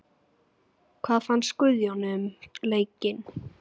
Hvað fannst Guðjóni um leikinn?